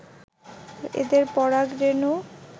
এদের পরাগ রেণু